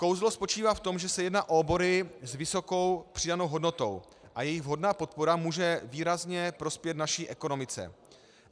Kouzlo spočívá v tom, že se jedná o obory s vysokou přidanou hodnotou a jejich vhodná podpora může výrazně prospět naší ekonomice.